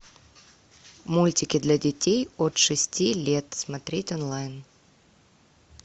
мультики для детей от шести лет смотреть онлайн